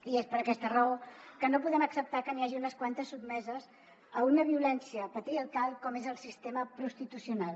i és per aquesta raó que no podem acceptar que n’hi hagi unes quantes sotmeses a una violència patriarcal com és el sistema prostitucional